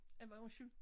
Af hvad undskyld